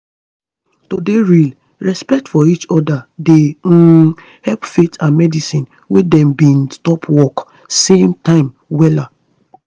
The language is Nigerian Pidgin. to dey real respect for each oda dey um help faith and medicine wey dem bin stop work same time wella